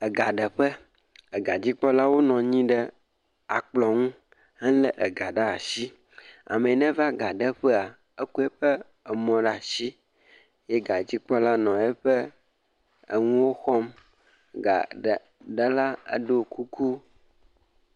ega ɖe ƒe, ega dzikpɔla wo nɔnyi ɖe akplɔ̃ ŋu, he le ega ɖe ashi, ameyi ne va ga ɖe ƒa, eko eƒe emɔ ɖe ashi, ye ga dzikpɔla nɔ eƒe eŋuwo xɔm, ga ɖe la eɖo kuku.